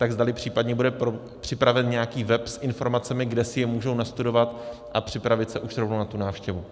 Tak zdali případně bude připraven nějaký web s informacemi, kde si je můžou nastudovat a připravit se už rovnou na tu návštěvu.